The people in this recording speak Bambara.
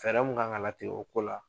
Fɛɛrɛ mun kan ka la tigɛ o ko la.